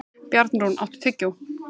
Bjarnrún, áttu tyggjó?